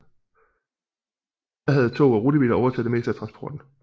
Da havde tog og rutebiler overtaget det meste af transporten